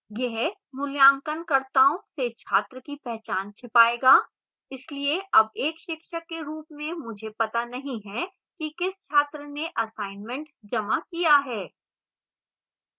यह मूल्यांकनकर्ताओं से छात्र की पहचान छिपाएगा इसलिए अब एक शिक्षक के रूप में मुझे पता नहीं है कि किस छात्र ने assignment जमा किया है